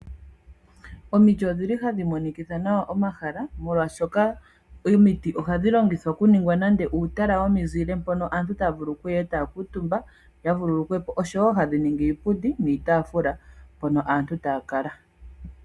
Omiti odhili hadhi monikitha nawa omahala, molwaashika omiti ohadhi longithwa